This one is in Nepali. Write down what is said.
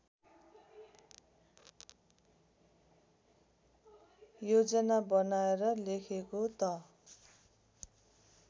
योजना बनाएर लेखेको त